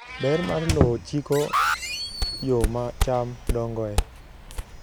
Ber mar lowo chiko yo ma cham dongoe.